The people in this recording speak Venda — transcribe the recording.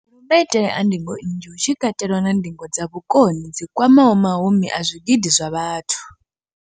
maitele a ndingo nnzhi, hu tshi katelwa na ndingo dza vhukoni dzi kwamaho mahumi a zwigidi zwa vhathu.